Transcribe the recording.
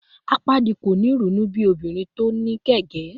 Apaadi ko ni irunu bi obinrin ti o kẹgàn